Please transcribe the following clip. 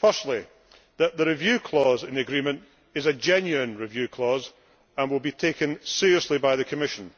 Firstly, that the review clause in the agreement is a genuine review clause and will be taken seriously by the Commission